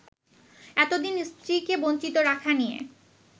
এতদিন স্ত্রীকে বঞ্চিত রাখা নিয়ে